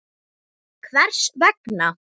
Hvers vegna?.